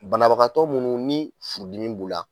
Banabagatɔ minnu ni furudinin b' u la.